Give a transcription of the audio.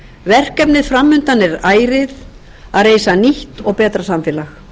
verkefnið fram undan er ærið að reisa nýtt og betra samfélag